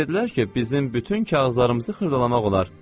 Mənə dedilər ki, bizim bütün kağızlarımızı xırdalamaq olar.